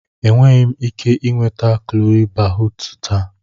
Enweghị m ike ị nweta Chole Bhatuu taa.